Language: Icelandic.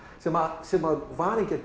sem sem var ekki að